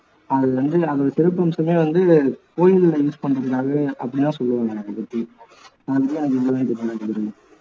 அது வந்து அதோட சிறப்பம்சமே வந்து கோயில்ல use பண்றதுக்காகவே அப்படி தான் சொல்லுவாங்க அதை பத்தி